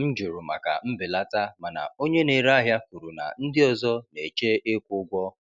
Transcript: M jụrụ maka mbelata, mana onye na-ere ahịa kwuru na ndị ọzọ na-eche ịkwụ ụgwọ.